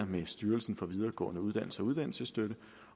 med styrelsen for videregående uddannelser og uddannelsesstøtte